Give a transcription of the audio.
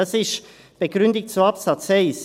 Das ist die Begründung zu Absatz 1.